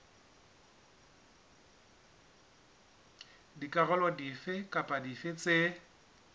dikarolo dife kapa dife tse